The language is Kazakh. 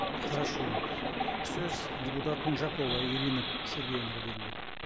хорошо сөз депутат унжакова ирина сергеевнаға беріледі